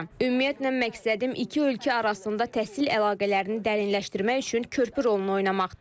Ümumiyyətlə, məqsədim iki ölkə arasında təhsil əlaqələrini dərinləşdirmək üçün körpü rolunu oynamaqdır.